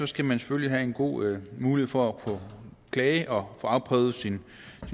skal man selvfølgelig have en god mulighed for at kunne klage og få afprøvet sin